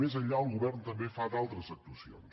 més enllà el govern també fa d’altres actuacions